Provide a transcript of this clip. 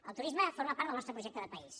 el turisme forma part del nostre projecte de país